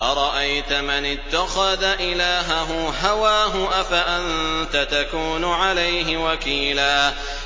أَرَأَيْتَ مَنِ اتَّخَذَ إِلَٰهَهُ هَوَاهُ أَفَأَنتَ تَكُونُ عَلَيْهِ وَكِيلًا